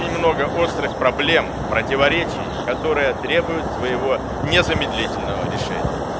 немного острых проблем противоречий которая требует своего незамедлительного решения